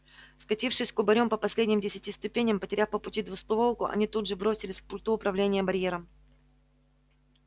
скатившись кубарем по последним десяти ступеням потеряв по пути двустволку они тут же бросились к пульту управления барьером